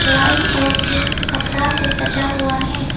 White और pink कपड़ा से सजा हुआ है।